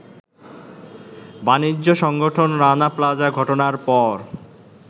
বাণিজ্য সংগঠন রানা প্লাজা ঘটনার পর